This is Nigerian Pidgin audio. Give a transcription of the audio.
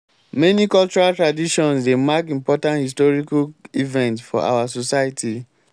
many cultural traditions dey mark important historical events for our society